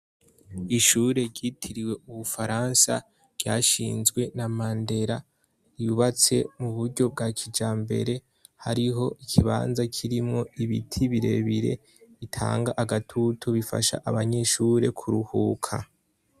Ishure ryitiriwe ubufaransa ryashinjwe na mandera yubatse mu buryo bwa kijambere hariho ikibanza kirimo ibiti birebire bitanga agatutu bifasha abanyeshure kuruhuka